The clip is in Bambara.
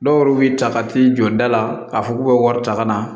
Dɔw yɛrɛ b'i ta ka t'i jɔ da la k'a fɔ k'u bɛ wari ta ka na